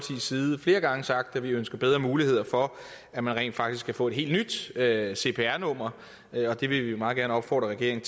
side flere gange sagt at vi ønsker bedre muligheder for at man rent faktisk kan få et helt nyt cpr cpr nummer og det vil vi meget gerne opfordre regeringen